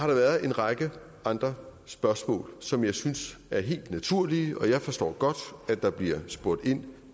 været en række andre spørgsmål som jeg synes er helt naturlige og jeg forstår godt der bliver spurgt ind